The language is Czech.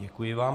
Děkuji vám.